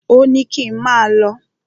Ò ní kín máà lọ.